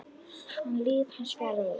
an líf hans fjaraði út.